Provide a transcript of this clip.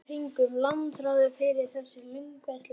Á meðan fengum við langþráðan frið eftir lönguvitleysu dagsins.